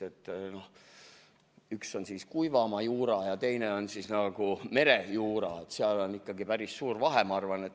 Üks asi on kuivamaajuura ja teine on merejuura ning seal on ikkagi päris suur vahe, ma arvan.